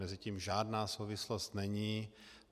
Mezi tím žádná souvislost není.